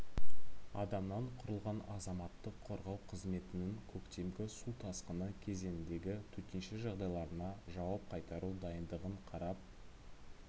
адамнан құрылған азаматтық қорғау қызметінің көктемгі су тасқыны кезеңіндегі төтенше жағдайларына жауап қайтару дайындығын қарап